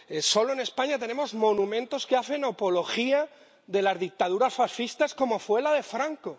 Solo en España tenemos monumentos que hacen apología de las dictaduras fascistas, como fue la de Franco.